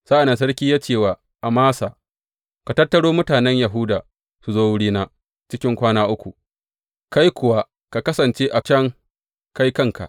Sa’an nan sarki ya ce wa Amasa, Ka tattaro mutanen Yahuda su zo wurina cikin kwana uku, kai kuwa ka kasance a can kai kanka.